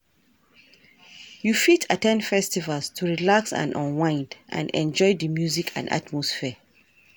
You fit at ten d festivals to relax and unwind, and enjoy di music and atmosphere.